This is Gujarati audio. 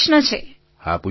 પ્રધાનમંત્રી હા પૂછો